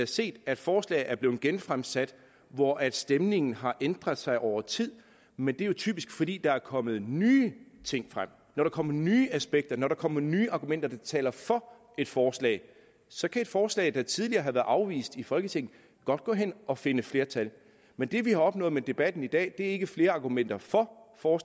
set at forslag er blevet genfremsat og at stemningen har ændret sig over tid men det er typisk fordi der er kommet nye ting frem når der kommer nye aspekter og når der kommer nye argumenter der taler for et forslag så kan et forslag der tidligere har været afvist i folketinget godt gå hen og finde flertal men det vi har opnået med debatten i dag er ikke flere argumenter for for